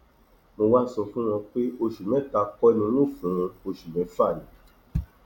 mo wáá sọ fún wọn pé oṣù mẹta kò ní n óò fún wọn oṣù mẹfà ni